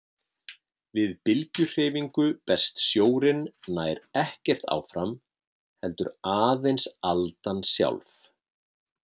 Við bylgjuhreyfingu berst sjórinn nær ekkert áfram heldur aðeins aldan sjálf.